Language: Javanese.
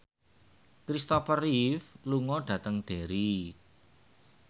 Kristopher Reeve lunga dhateng Derry